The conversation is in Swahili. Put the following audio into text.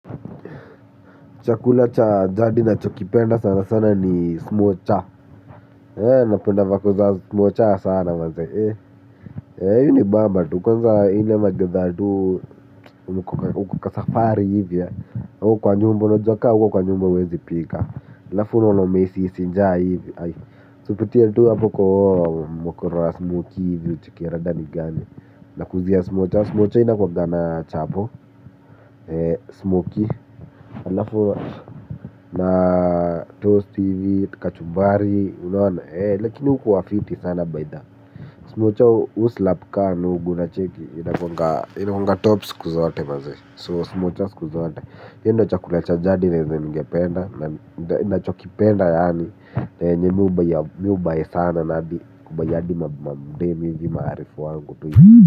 Chakula cha jadi nachokipenda sana sana ni smocha napenda vako za smocha sana. Huu ni bamba ule wakati ambapo hawayuko kwa nyumba juu kama uko kwa nyumba huwezi pika halafu unaona umehisi njaa hivi kupitia hapo tu kwa mokoro wa smoki ucheki rada gani nakujia smocha inakuaga na chapo smoki alafu na tost ivi kachubari lakini ukua fiti sana baidha smucho uslapka nungu gula cheki ina konga top skuzaate mazwe so smocha skuzaate yendo chakula chajadi na ngependa nachokipenda yaani na yenye miu bai sana nabi kubuy adi mdemi hizi maharifu wangu. Kwa hivyo.